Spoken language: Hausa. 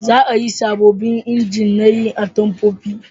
Za a yi sabobbin inji na yin atamfofi